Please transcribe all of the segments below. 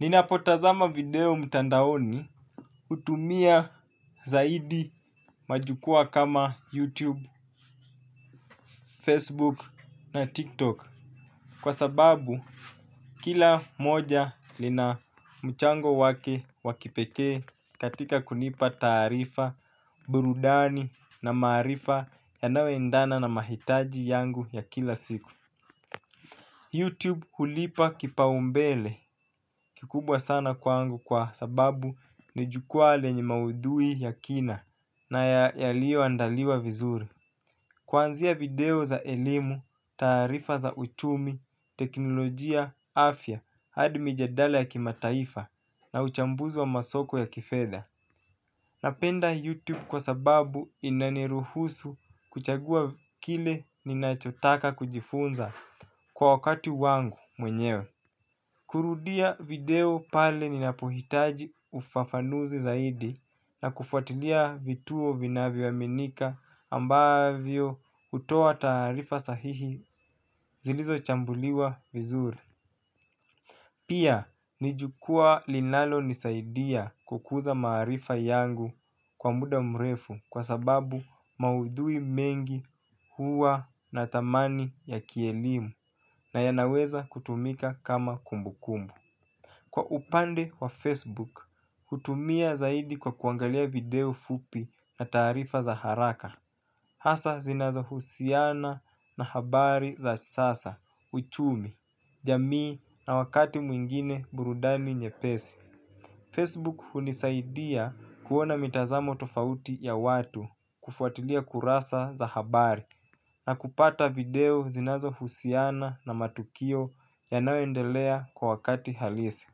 Ninapotazama video mtandaoni hutumia zaidi majukwaa kama YouTube, Facebook na TikTok kwa sababu kila moja lina mchango wake wa kipekee katika kunipa taarifa, burudani na maarifa yanayoendana na mahitaji yangu ya kila siku. Youtube huipa kipaumbele kikubwa sana kwangu kwa sababu ni jukwaa lenye maudhui ya kina na yaliyoandaliwa vizuri. Kwanzia video za elimu, taarifa za uchumi, teknolojia, afya, hadi mjadala ya kimataifa na uchambuzi wa masoko ya kifedha. Napenda Youtube kwa sababu inaniruhusu kuchagua kile ninachotaka kujifunza kwa wakatu wangu mwenyewe. Kurudia video pale ninapohitaji ufafanuzi zaidi na kufuatilia vituo vinavyoaminika ambavyo hutoa taarifa sahihi zilizo chambuliwa vizuri pia ni jukwaa linalonisaidia kukuza maarifa yangu kwa muda mrefu kwa sababu maudhui mengi huwa na thamani ya kielimu na yanaweza kutumika kama kumbukumbu. Kwa upande wa Facebook, hutumia zaidi kwa kuangalia video fupi na taarifa za haraka. Hasa zinazo husiana na habari za sasa, uchumi, jamii na wakati mwingine burudani nyepesi Facebook hunisaidia kuona mitazamo tofauti ya watu kufuatilia kurasa za habari. Na kupata video zinazohusiana na matukio yanayoendelea kwa wakati halisi.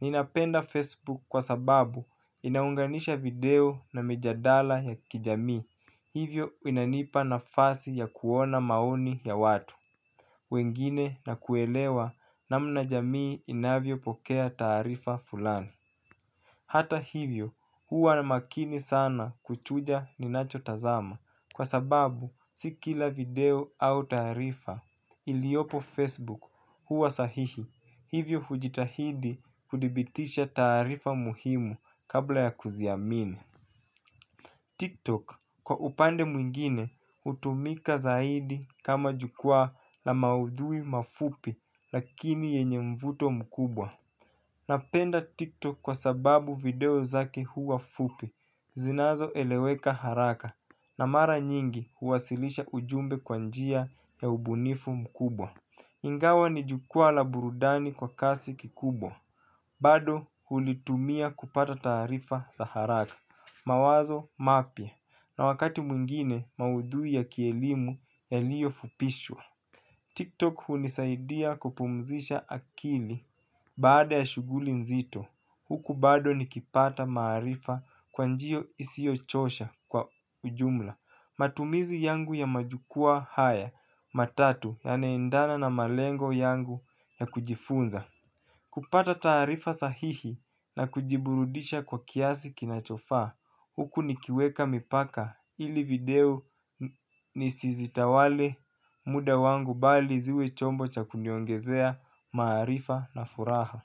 Ninapenda Facebook kwa sababu inaunganisha video na mijadala ya kijami hivyo inanipa na fasi ya kuona maoni ya watu wengine na kuelewa namna jamii inavyopokea taarifa fulani. Hata hivyo huwa na makini sana kuchuja ninachotazama kwa sababu si kila video au taarifa iliyopo Facebook huwa sahihi, hivyo hujitahidi kuthibitisha taarifa muhimu kabla ya kuziamini. Tiktok kwa upande mwingine hutumika zaidi kama jukwaa la maudhui mafupi lakini wenye mvuto mkubwa. Napenda TikTok kwa sababu video zake huwa fupi, zinazoeleweka haraka na mara nyingi huwasilisha ujumbe kwa njia ya ubunifu mkubwa. Ingawa nijukwaa la burudani kwa kasi kikubwa. Bado hulitumia kupata taarifa za haraka mawazo mapya, na wakati mwingine maudhui ya kielimu yaliyo fupishwa. TikTok hunisaidia kupumzisha akili baada ya shughuli nzito, huku bado nikipata maarifa kwa njia isiyochosha kwa ujumla, matumizi yangu ya majukwaa haya matatu yanaendana na malengo yangu ya kujifunza. Kupata taarifa sahihi na kujiburudisha kwa kiasi kinachofaa huku nikiweka mipaka ili video nisizitawale muda wangu bali ziwe chombo cha kuniongezea maarifa na furaha.